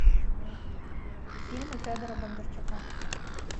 фильмы федора бондарчука